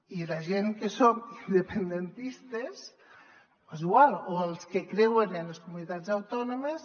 i la gent que som independentistes o és igual els que creuen en les comunitats autònomes